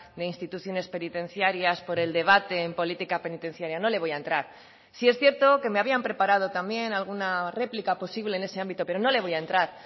de instituciones penitencias por el debate en política penitenciaria no le voy a entrar sí es cierto que me habían preparado también alguna réplica posible en ese ámbito pero no le voy a entrar